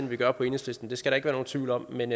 vi gør på enhedslisten det skal der ikke være nogen tvivl om men